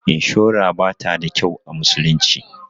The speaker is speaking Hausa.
Inshura bata da kyau a musulunci.